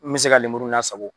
N be se ka lemuru lasago.